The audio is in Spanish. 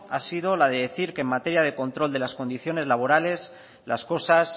ha sido la de decir que en materia de control de las condiciones laborales las cosas